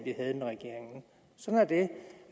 vi havde med regeringen sådan